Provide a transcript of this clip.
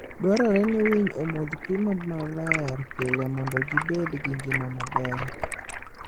Dwarore ni winy omodh pi maler pile mondo gibed gi ngima maber.